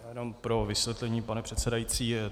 Jenom pro vysvětlení, pane předsedající.